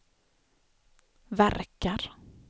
verkar